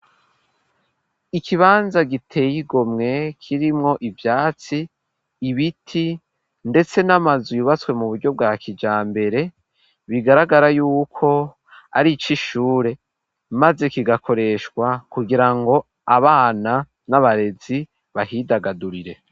Ikibanza giteye igomwe, kirimwo ivyatsi, ibiti, ndetse n'amazu, yubatswe mu buryo, bwa kijambere, bigaragara y'uko, ari ic' ishure; maze kigakoreshwa, kugira ngo, abana n'abarezi, bahidagadurire.